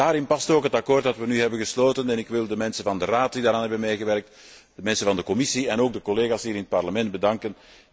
Daarin past ook het akkoord dat we nu hebben gesloten en ik wil de mensen van de Raad die daaraan hebben meegewerkt, de mensen van de Commissie en ook de collega's hier in het Parlement bedanken.